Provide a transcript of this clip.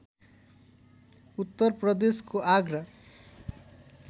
उत्तरप्रदेशको Agra